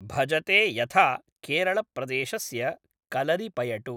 भजते यथा केरळप्रदेशस्य कलरिपयटु